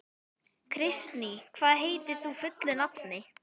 Kristný, hvað heitir þú fullu nafni?